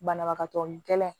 Banabagatɔ ni kɛlɛ